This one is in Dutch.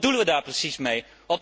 Wat bedoelen we daar precies mee?